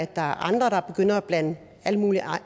der er andre der begynder at blande al mulig